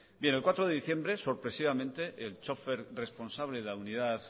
el cuatro de diciembre sorpresivamente el chófer responsable de la unidad